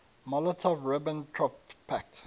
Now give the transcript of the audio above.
molotov ribbentrop pact